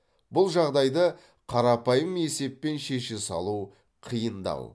бұл жағдайды қарапайым есеппен шеше салу қиындау